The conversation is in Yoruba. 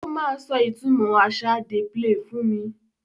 Ó máa sọ ìtumọ̀ àṣà ‘Dey play’ fún mi.